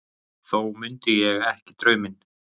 Þó mundi ég ekki drauminn.